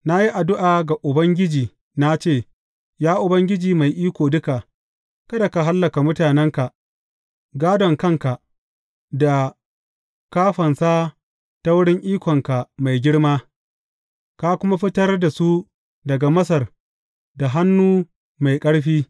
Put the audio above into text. Na yi addu’a ga Ubangiji na ce, Ya Ubangiji Mai Iko Duka, kada ka hallaka mutanenka, gādon kanka, da ka fansa ta wurin ikonka mai girma, ka kuma fitar da su daga Masar da hannu mai ƙarfi.